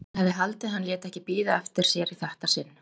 Hann hefði haldið að hann léti ekki bíða eftir sér í þetta sinn.